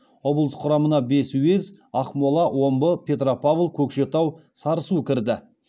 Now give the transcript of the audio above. облыс құрамына бес уез ақмола омбы петропавл көкшетау сарысу кірді